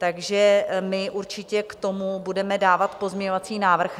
Takže my určitě k tomu budeme dávat pozměňovací návrh.